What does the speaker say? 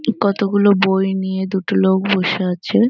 কতগুলো বই নিয়ে দুটো লোক বসে আছে।